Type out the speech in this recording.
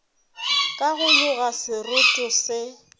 ka go loga seroto se